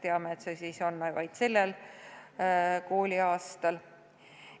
Nüüd teame, et see piirdub vaid selle kooliaastaga.